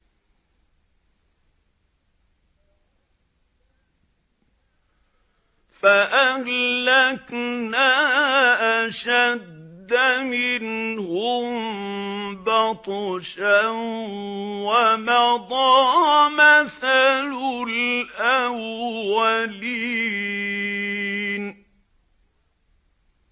فَأَهْلَكْنَا أَشَدَّ مِنْهُم بَطْشًا وَمَضَىٰ مَثَلُ الْأَوَّلِينَ